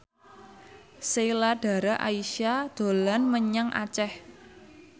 Sheila Dara Aisha dolan menyang Aceh